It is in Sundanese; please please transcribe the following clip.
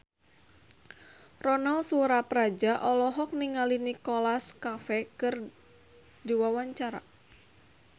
Ronal Surapradja olohok ningali Nicholas Cafe keur diwawancara